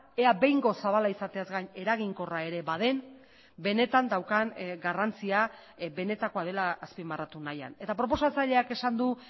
ea behingoz zabala izateaz gain eraginkorra ere baden benetan daukan garrantzia benetakoa dela azpimarratu nahian eta proposatzaileak esan du